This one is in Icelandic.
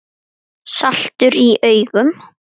Saltur í augum.